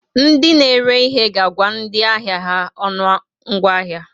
Ndị n'ere ihe ga-agwa ndị ahịa ha ọnụahịa ngwaahịa.